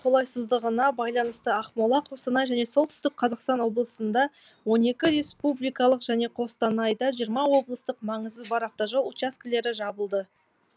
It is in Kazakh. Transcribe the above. қолайсыздығына байланысты ақмола қостанай және солтүстік қазақстан облысында он екі республикалық және қостанайда жиырма облыстық маңызы бар автожол учаскілері жабылды